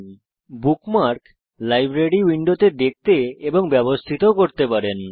আপনি আপনার bookmark library উইন্ডোতে দেখতে এবং ব্যবস্থিত ও করতে পারেন